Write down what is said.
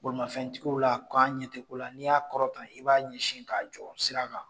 Bolimafɛntigiw la k'anw ɲɛ tɛ ko la ni y'a kɔrɔta i b'a ɲɛsin k'a jɔ sira kan